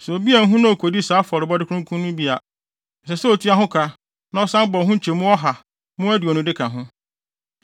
“Sɛ obi anhu na okodi saa afɔrebɔde kronkron no bi a, ɛsɛ sɛ otua ho ka na ɔsan bɔ ho nkyɛmu ɔha mu aduonu de ka ho.